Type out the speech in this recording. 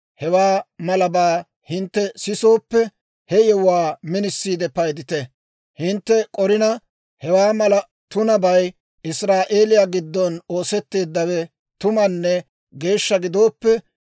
hewaa malabaa hintte sisooppe, he yewuwaa minisiide paydite. Hintte k'orina, hewaa mala tunabay Israa'eeliyaa giddon oosetteeddawe tumanne geeshsha gidooppe,